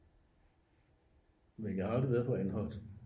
men jeg har aldrig været på anholt